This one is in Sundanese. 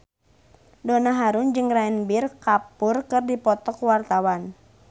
Donna Harun jeung Ranbir Kapoor keur dipoto ku wartawan